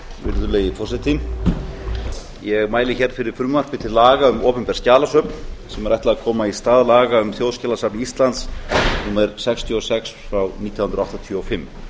virðulegi forseti ég mæli fyrir frumvarpi til laga um opinber skjalasöfn sem er ætlað að koma í stað laga um þjóðskjalasafn íslands númer sextíu og sex nítján hundruð áttatíu og fimm